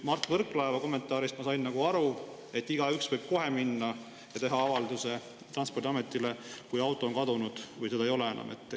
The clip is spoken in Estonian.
Mart Võrklaeva kommentaarist ma sain aru, et igaüks võib kohe minna ja teha avalduse Transpordiametile, kui auto on kadunud või seda ei ole enam.